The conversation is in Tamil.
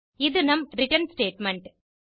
இது நம் ரிட்டர்ன் ஸ்டேட்மெண்ட்